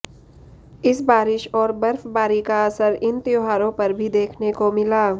इस बारिश और बर्फबारी का असर इन त्योहारों पर भी देखने को मिला